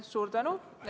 Suur tänu!